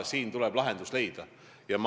Siin tuleb lahendus leida.